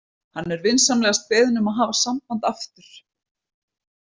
Hann er vinsamlegast beðinn um að hafa samband aftur.